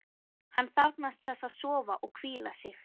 Hann þarfnast þess að sofa og hvíla sig.